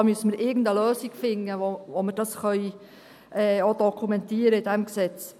Da müssten wir irgendeine Lösung finden, wie wir das auch dokumentieren können in diesem Gesetz.